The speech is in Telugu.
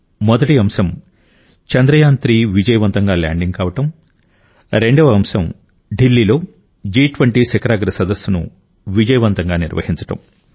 మొదటి అంశం చంద్రయాన్3 విజయవంతంగా ల్యాండింగ్ కావడం రెండవ అంశం ఢిల్లీలో జి20 శిఖరాగ్ర సదస్సును విజయవంతంగా నిర్వహించడం